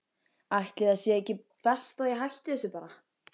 Ætli það sé ekki best að ég hætti þessu bara.